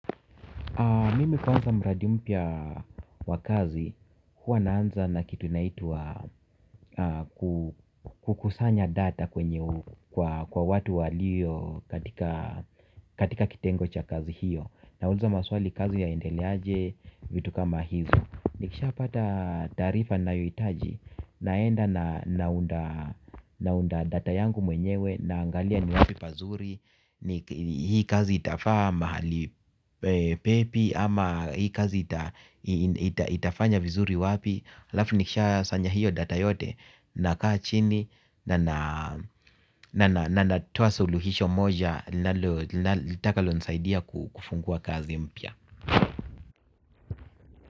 Mimi kwanza mradi mpya wa kazi, huwa naanza na kitu inaitwa kukusanya data kwenye kwa watu walio katika kitengo cha kazi hiyo. Nauliza maswali kazi ya endeleaje, vitu kama hizo nikisha pata taarifa nayohitaji, naenda naunda naunda data yangu mwenyewe naangalia ni wapi pazuri hii kazi itafaa mahali pepi ama hii kazi itafanya vizuri wapi halafu nikisha sanya hiyo data yote nakaa chini na nina na natoa suluhisho moja litakalo nisaidia kufungua kazi mpya.